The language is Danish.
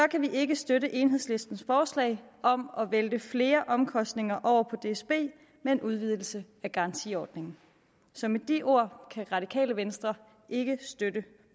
kan vi ikke støtte enhedslistens forslag om at vælte flere omkostninger over på dsb med en udvidelse af garantiordningen så med de ord kan radikale venstre ikke støtte